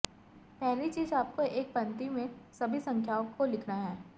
पहली चीज आपको एक पंक्ति में सभी संख्याओं को लिखना है